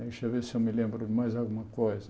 Deixa eu ver se eu me lembro de mais alguma coisa.